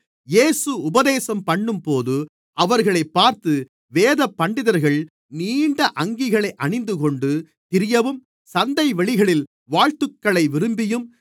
இயேசு உபதேசம்பண்ணும்போது அவர்களைப் பார்த்து வேதபண்டிதர்கள் நீண்ட அங்கிகளை அணிந்துகொண்டு திரியவும் சந்தைவெளிகளில் வாழ்த்துக்களை விரும்பியும்